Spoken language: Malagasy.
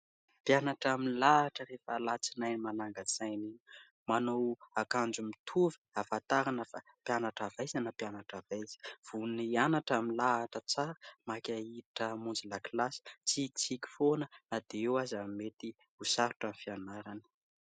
Mpianatra milahatra rehefa alatsinainy manangan-tsaina iny; manao akanjo mitovy ahafantarana fa mpianatra avy aiza na mpianatra avy aiza. Vonona hianatra milahatra tsara, maika ihiditra hamonjy lakilasy, mitsikitsiky foana na dia eo aza ny mety ho sarotra amin'ny fianarana.